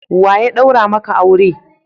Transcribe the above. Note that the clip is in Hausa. Wa ya daura maka aure?